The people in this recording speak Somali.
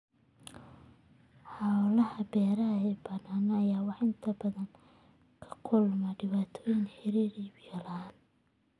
Hawlaha beeraha ee baaxadda leh waxay inta badan la kulmaan dhibaatooyin la xiriira biyo la'aanta.